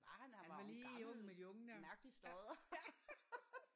Han var lige ung med de unge der ja ja